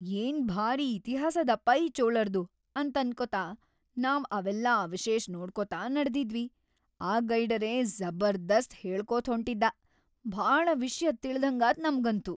ಏನ್ ಭಾರೀ ಇತಿಹಾಸ್‌ ಅದಪ್ಪಾ ಈ ಚೋಳರ್ದು ಅಂತನ್ಕೋತ ನಾವ್‌ ಅವೆಲ್ಲಾ ಅವಶೇಷ್ ನೋಡ್ಕೊತ ನಡದಿದ್ವಿ, ಆ ಗೈಡರೇ ಜಬರ್ದಸ್ತ್‌ ಹೇಳ್ಕೋತ್ಹೊಂಟಿದ್ದಾ.. ಭಾಳ ವಿಷ್ಯ ತಿಳ್ದಂಗಾತ್‌ ನಮ್ಗಂತೂ.